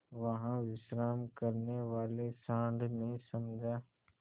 वहाँ विश्राम करने वाले सॉँड़ ने समझा